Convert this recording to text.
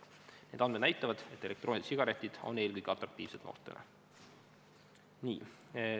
Need andmed näitavad, et elektroonilised sigaretid on eelkõige atraktiivsed noortele.